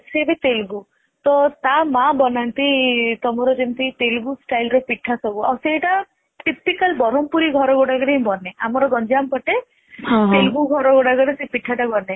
ସେ ବି ତେଲୁଗୁ ତ ତା ମା ବନାନ୍ତି ତମର ଯେମିତି ତେଲୁଗୁ style ର ପିଠା ସବୁ.ସେଇଟା typical ବ୍ରହ୍ମପୁରୀ ଘର ଗୁଡାକ ରେ ହିଁ ବନେ ଆମର ଗଞ୍ଜାମ ପଟେ ତେଲୁଗୁ ଘର ଗୁଡାକ ରେ ହିଁ ସେଇ ପିଠା ଗୁଡା ବନେ